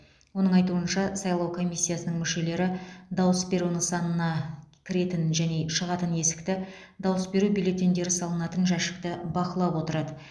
оның айтуынша сайлау комиссиясының мүшелері дауыс беру нысанына кіретін және шығатын есікті дауыс беру бюллетендері салынатын жәшікті бақылап отырады